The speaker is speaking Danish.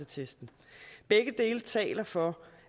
testen begge dele taler for